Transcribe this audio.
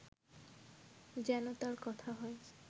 যেন তার কথা হয়